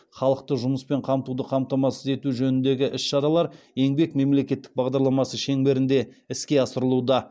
халықты жұмыспен қамтуды қамтамасыз ету жөніндегі іс шаралар еңбек мемлекеттік бағдарламасы шеңберінде іске асырылуда